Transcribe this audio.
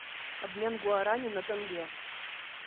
обмен гуарани на тенге